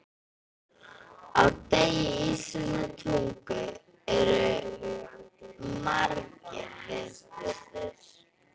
Á degi íslenskrar tungu eru margir viðburðir.